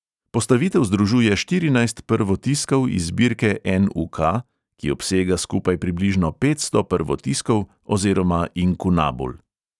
Postavitev združuje štirinajst prvotiskov iz zbirke en|u|ka, ki obsega skupaj približno petsto prvotiskov oziroma inkunabul.